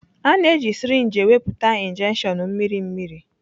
A na-eji sirinji ewepụta injections mmiri mmiri.